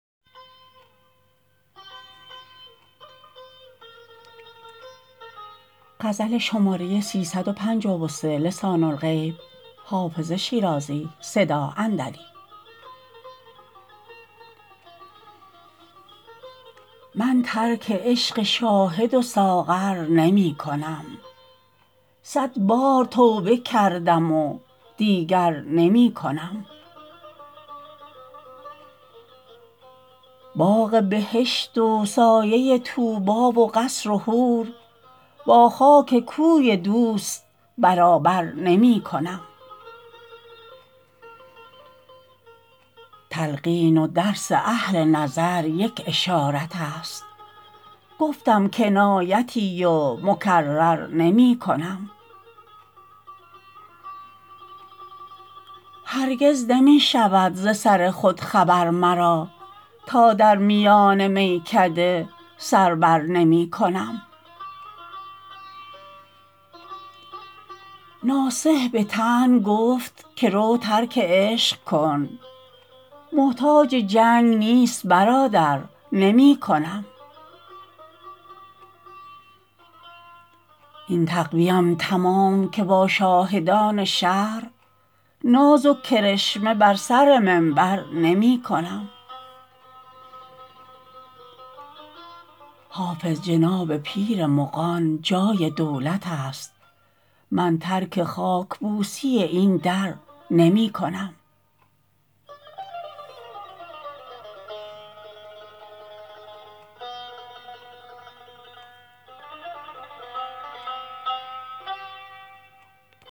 من ترک عشق شاهد و ساغر نمی کنم صد بار توبه کردم و دیگر نمی کنم باغ بهشت و سایه طوبی و قصر و حور با خاک کوی دوست برابر نمی کنم تلقین و درس اهل نظر یک اشارت است گفتم کنایتی و مکرر نمی کنم هرگز نمی شود ز سر خود خبر مرا تا در میان میکده سر بر نمی کنم ناصح به طعن گفت که رو ترک عشق کن محتاج جنگ نیست برادر نمی کنم این تقوی ام تمام که با شاهدان شهر ناز و کرشمه بر سر منبر نمی کنم حافظ جناب پیر مغان جای دولت است من ترک خاک بوسی این در نمی کنم